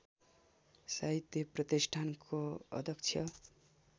साहित्य प्रतिष्ठानको अध्यक्ष